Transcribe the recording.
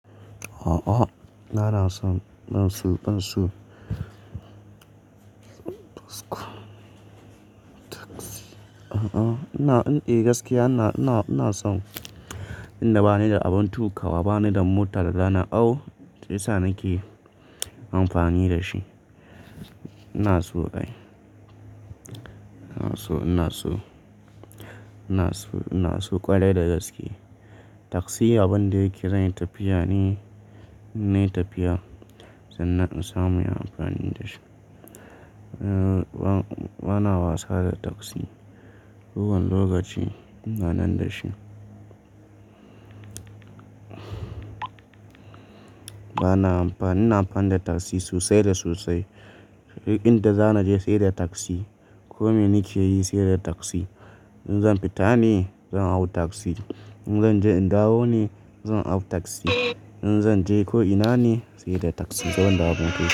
A'a, na na son ban so ban so. A'a ina, eh gaskiya ina, ina, ina son in da bani da abin tukawa, bani da mota da za na au, shi yasa nake amfani da shi. Ina so kai. Ina so, ina so, ina so, ina so ƙwarai da gaske. Taksi abin da yake zai tafiya ne, ze tafiya sannan in samu inyi amfani da shi. Eh bana wasa da taksi, kowane lokaci ina nan da shi. Bana amfani, ina amfani da taksi sosai da sosai. Duk inda za na je sai da taksi. Ko me nike yi sai da taksi. In zan fita ne zan hau taksi. In zanje in dawo ne zan hau taksi, in zanje ko ina ne sai da taksi.